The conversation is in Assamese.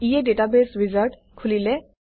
ইয়ে ডাটাবেছ উইজাৰ্ড খোলিলে